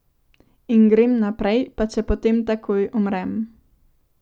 In grem naprej, pa če potem takoj umrem.